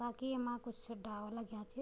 बाकी येमा कुछ डाला लग्यां छी।